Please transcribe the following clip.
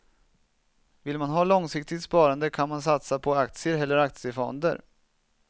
Vill man ha långsiktigt sparande kan man satsa på aktier eller aktiefonder.